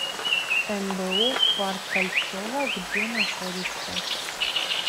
мбу парк кольцово где находится